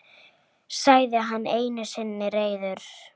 Það myndi aldrei ganga.